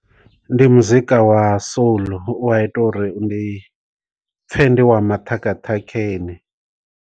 Ndi muzika wa soul u a ita uri ndi pfe ndi wa maṱhakhaṱhakheni.